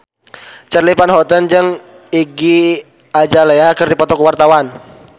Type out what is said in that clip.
Charly Van Houten jeung Iggy Azalea keur dipoto ku wartawan